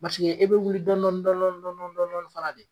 Basige e bɛ wuli dɔndɔni dɔndɔni dɔndɔni dɔndɔni fana de.